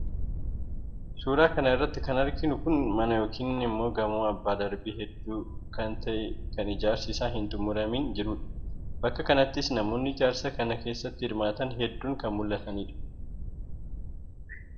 Suuraa kana irratti kan arginu Kun mana yookiin immoo gamoo abbaa darbii hedduu kan ta'e kan ijaarsi isaa hin xummuramiin jirudha. Bakka kanattis namoonni ijaarsa kana keessatti hirmaatan hedduun kan mul'atanidha.